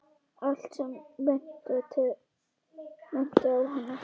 Allt sem minnti á hana.